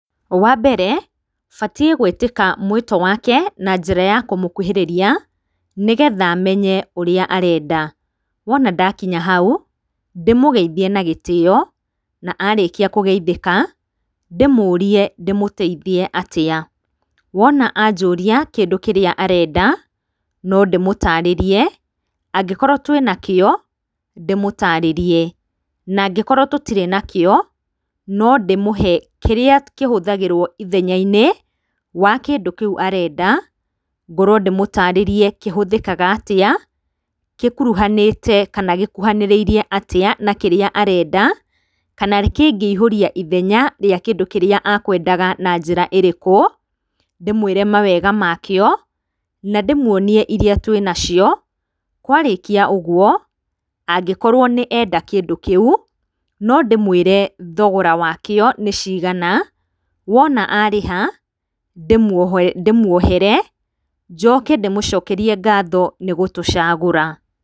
Wambere batie gwĩtĩka mũito wake na njĩra kũmũkuhĩrĩria nĩgetha menye ũrĩa arenda, wona ndakinya hau ndĩmũgeithie na gĩtĩyo na arĩkia kũgeithĩka ndĩmũrie ndĩmũteithiĩ atĩa ,wona ajũrĩa kĩndũ kĩrĩa arenda nondĩmũtarĩrie angĩkorwo tu ena kĩo ndĩmũtarĩrie na angĩkorwo tũtire nakĩo nondĩmũhe kĩria kĩhũthagĩrwo ithenyainĩ wa kĩndũ kĩũ arenda ngorwo ndĩmũtarĩrie kĩhũthĩkaga atĩa gĩkuruganĩte kana gĩkuhanĩrĩrie atĩa na kĩrĩa arenda kana kĩngĩihũria ithenya rĩa kĩndũ kĩrĩa akwendaga na njĩra ĩrĩkũ, ndĩmwĩre mawega makĩo na ndĩmwonie iria twĩnacio kwarĩkia ũguo, angĩkorwo nĩenda kĩndũ kĩu nondĩmwĩre thogora wakĩo nĩcigana wona arĩha ndĩmwohere njoke ndĩmũcokerie ngatho nĩgũtũcagũra.